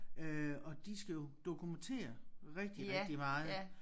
Øh og de skal jo dokumentere rigtig rigtig meget